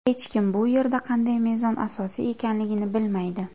Hech kim bu yerda qanday mezon asosiy ekanligini bilmaydi.